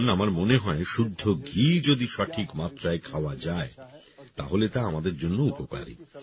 যেমন আমার মনে হয় শুদ্ধ ঘি যদি সঠিক মাত্রায় খাওয়া যায় তাহলে তা আমাদের জন্য উপকারী